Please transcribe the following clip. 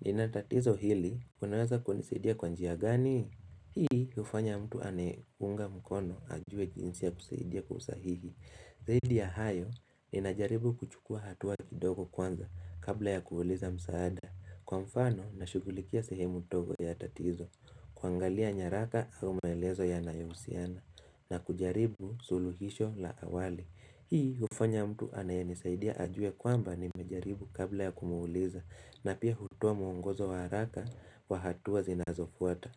nina tatizo hili unaweza kunisaidia kwa njia gani hii hufanya mtu aniunge mkono ajue jinsi ya kusaidia kwa usahihi Zaidi ya hayo ninajaribu kuchukua hatuwa kidogo kwanza kabla ya kuuliza msaada Kwa mfano na shugulikia sehemu dogo ya tatizo kuangalia nyaraka au maelezo yanayohusiana na kujaribu suluhisho la awali Hii hufanya mtu anayenisaidia ajue kwamba nimejaribu kabla ya kumwuliza na pia hutoa mwongozo wa haraka wa hatua zinazofuata.